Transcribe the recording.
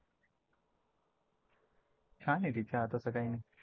छान आहे ति चहा तसं काही नाही